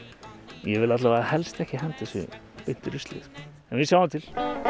ég vil alla vega helst ekki henda þessu beint í ruslið en við sjáum til